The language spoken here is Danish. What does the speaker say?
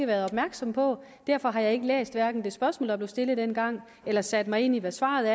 været opmærksom på derfor har jeg ikke læst hverken det spørgsmål der blev stillet dengang eller sat mig ind i hvad svaret